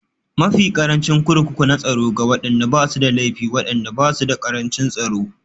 Mafi ƙarancin Kurkuku na Tsaro Ga waɗanda ba su da laifi, waɗannan ba su da ƙarancin tsaro